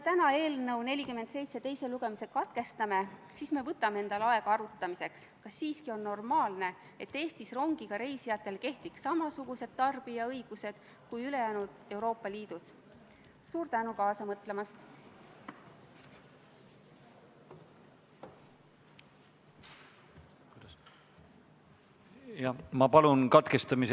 Tänane kümnes päevakorrapunkt on Vabariigi Valitsuse esitatud Riigikogu otsuse "Kaitseväe kasutamine Eesti riigi rahvusvaheliste kohustuste täitmisel Ühendkuningriigi ühendekspeditsiooniväe koosseisus" eelnõu 71 teine lugemine.